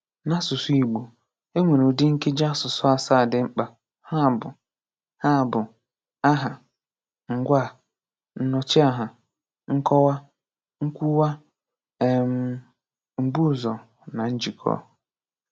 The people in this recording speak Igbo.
N'asụsụ Igbo, e nwere ụdị Nkeji asụsụ asaa (7) dị mkpa, ha bụ: ha bụ: Aha, Ngwaa, Nnọchiaha, Nkọwa, Nkwuwa, um Mbuụzọ na Njikọ